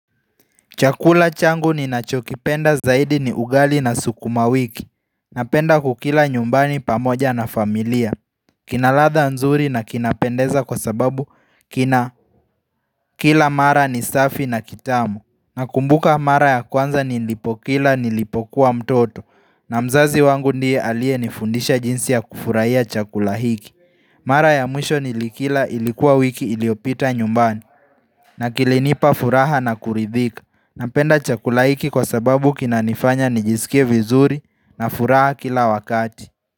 Chakula changu ni nachokipenda zaidi ni ugali na sukuma wiki Napenda kukila nyumbani pamoja na familia Kinaladha nzuri na kinapendeza kwa sababu kina kila mara ni safi na kitamu Nakumbuka mara ya kwanza nilipokila nilipokuwa mtoto na mzazi wangu ndiye aliye nifundisha jinsi ya kufurahiya chakula hiki Mara ya mwisho ni likila ilikuwa wiki iliyopita nyumbani na kilinipa furaha na kuridhika Napenda chakulahiki kwa sababu kina nifanya nijisikie vizuri na furaha kila wakati.